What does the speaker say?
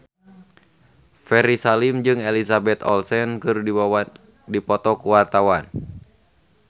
Ferry Salim jeung Elizabeth Olsen keur dipoto ku wartawan